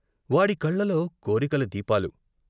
వాడి కళ్ళలో కోరికల దీపాలు....